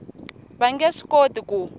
va nge swi koti ku